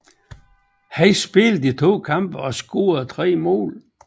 Han spillede i to kampe og scorede tre mål